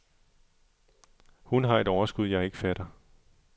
Hun har et overskud, jeg ikke fatter.